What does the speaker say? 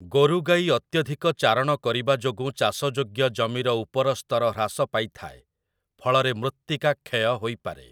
ଗୋରୁଗାଈ ଅତ୍ୟଧିକ ଚାରଣ କରିବା ଯୋଗୁଁ ଚାଷଯୋଗ୍ୟ ଜମିର ଉପରସ୍ତର ହ୍ରାସ ପାଇଥାଏ, ଫଳରେ ମୃତ୍ତିକା କ୍ଷୟ ହୋଇପାରେ ।